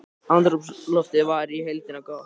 Andrúmsloftið var í heildina gott